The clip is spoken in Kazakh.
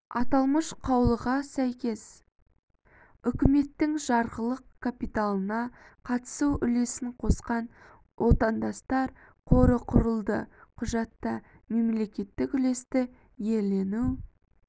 аталмыш қаулыға сәйкес үкіметтің жарғылық капиталына қатысу үлесін қосқан отандастар қоры құрылды құжатта мемлекеттік үлесті иелену